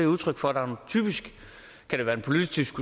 udtryk for at der er en politisk